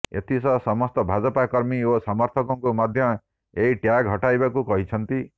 ଏଥିସହ ସମସ୍ତ ଭାଜପା କର୍ମୀ ଓ ସମର୍ଥକଙ୍କୁ ମଧ୍ୟ ଏହି ଟ୍ୟାଗ୍ ହଟାଇବାକୁ କହିଛନ୍ତି